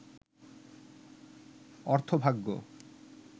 অর্থভাগ্য